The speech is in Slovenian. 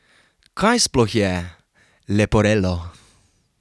Kaj sploh je leporello?